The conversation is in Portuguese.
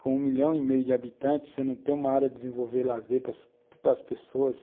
Com um milhão e meio de habitantes, você não tem uma área de desenvolver lazer para as pessoas.